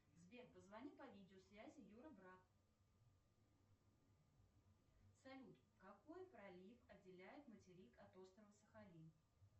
сбер позвони по видеосвязи юра брат салют какой пролив отделяет материк от острова сахалин